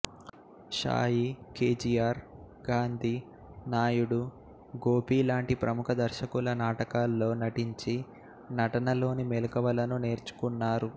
Sai K G R Gandhi Naidu Gopi లాంటి ప్రముఖ దర్శకుల నాటకాల్లో నటించి నటనలోని మెళకువలను నేర్చుకున్నారు